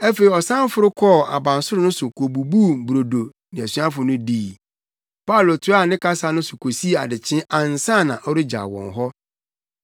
Afei ɔsan foro kɔɔ abansoro no so kobubuu brodo ne asuafo no dii. Paulo toaa ne kasa no so kosii adekyee ansa na ɔregyaw wɔn hɔ.